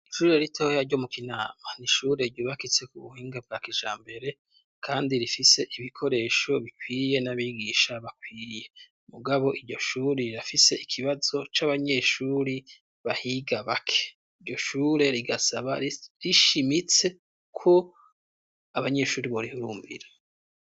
Ishure ritoya ryo mu Kinama, n'ishure ryubakitse ku buhinga bwa kijambere kandi rifise ibikoresho bikwiye n'abigisha bakwiye, mugabo iryo shuri rirafise ikibazo c'abanyeshuri bahiga bake, iryo shure rigasaba rishimitse ko abanyeshuri borihurumbira.